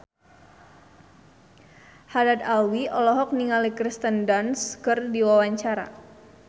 Haddad Alwi olohok ningali Kirsten Dunst keur diwawancara